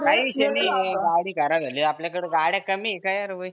काही विषय नाही. गाडी खराब झाली आपल्याकडं गाड्या कमी आहे का यार भाई?